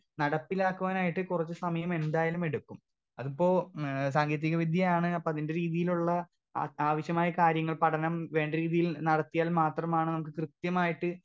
Speaker 2 നടപ്പിലാക്കുവാനായിട്ട് കുറച്ച് സമയമെന്തായാലും എടുക്കും അതിപ്പോ ഏ സാങ്കേതിക വിദ്യയാണ് അപ്പൊ അതിന്റെ രീതീലുള്ള ആ ആവശ്യമായ കാര്യങ്ങൾ പഠനം വേണ്ട രീതിയിൽ നടത്തിയാൽ മാത്രമാണ് നമുക്ക് കൃത്യമായിട്ട്.